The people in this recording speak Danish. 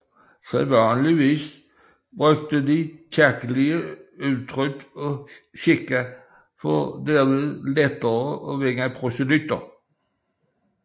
Sædvanligvis benyttede de kirkelige udtryk og skikke for derved lettere at vinde proselytter